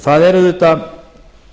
það er auðvitað